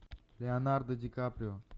леонардо ди каприо